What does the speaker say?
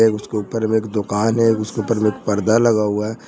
उसके ऊपर में एक दुकान है उसको पर में पर्दा लगा हुआ है।